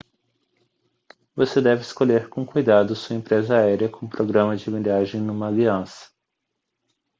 você deve escolher com cuidado sua empresa aérea com programa de milhagem numa aliança